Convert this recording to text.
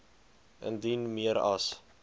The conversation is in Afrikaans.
indien meer as